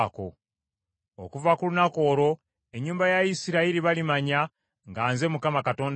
Okuva ku lunaku olwo, ennyumba ya Isirayiri balimanya nga nze Mukama Katonda waabwe.